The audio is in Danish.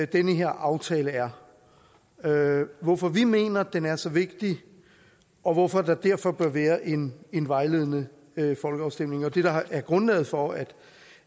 den her aftale er hvorfor vi mener at den er så vigtig og hvorfor der derfor bør være en en vejledende folkeafstemning det er det der er grundlaget for at